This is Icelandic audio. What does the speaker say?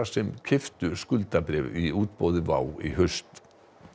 sem keyptu skuldabréf í útboði WOW í haust